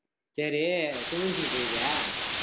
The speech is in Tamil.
சேரி swimming pool போயிருக்கியா